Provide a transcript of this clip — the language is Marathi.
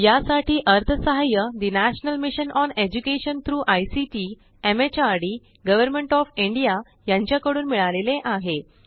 यासाठी अर्थसहाय्य ठे national mission on education through ICT MHRD government of India कडून मिळाले आहे